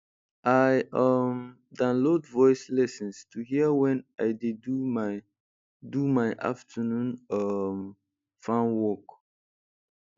i um download voice lessons to hear when i dey do my do my afternoon um farm work